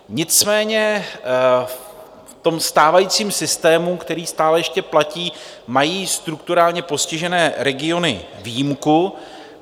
Nicméně v tom stávajícím systému, který stále ještě platí, mají strukturálně postižené regiony výjimku.